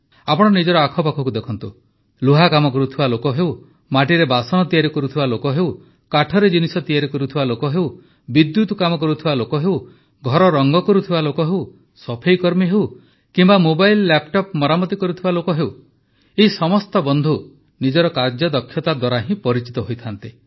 ଆପଣ ନିଜର ଆଖପାଖକୁ ଦେଖନ୍ତୁ ଲୁହା କାମ କରୁଥିବା ଲୋକ ହେଉ ମାଟିରେ ବାସନ ତିଆରି କରୁଥିବା ଲୋକ ହେଉ କାଠରେ ଜିନିଷ ତିଆରି କରୁଥିବା ଲୋକ ହେଉ ବିଦ୍ୟୁତ୍ କାମ କରୁଥିବା ଲୋକ ହେଉ ଘର ରଂଗ କରୁଥିବା ଲୋକ ହେଉ ସଫେଇକର୍ମୀ ହେଉ କିମ୍ବା ମୋବାଇଲ୍ ଲ୍ୟାପଟପ୍ ମରାମତି କରୁଥିବା ଲୋକ ହେଉ ଏହି ସମସ୍ତ ବନ୍ଧୁ ନିଜର କାର୍ଯ୍ୟଦକ୍ଷତା ଦ୍ୱାରା ହିଁ ପରିଚିତ ହୋଇଥାନ୍ତି